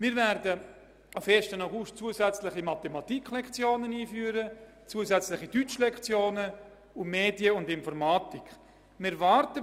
Wir werden per 1. August 2018 zusätzliche Mathematik- und Deutsch-Lektionen sowie das Fach «Medien und Informatik» einführen.